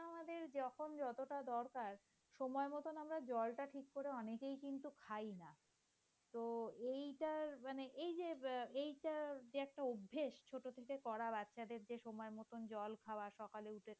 যখন যতটা দরকার সময় মতো আমরা জলটা ঠিকমতো অনেকেই কিন্তু খাই না । তো এটার মানে এই যে এটার যে একটা অভ্যাস ছোট থেকে করা বাচ্চাদের যে সময় মত জল খাওয়া সকালে উঠে।